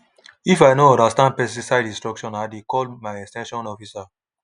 teach your neighbour how to handle pesticide—na all of us go benefit.